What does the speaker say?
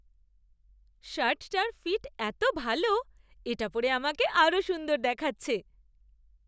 শার্টটার fit এত ভালো! এটা পরে আমাকে আরও সুন্দর দেখাচ্ছে।